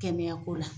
Kɛnɛya ko la